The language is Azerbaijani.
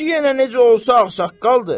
kişi yenə necə olsa ağsaqqaldır.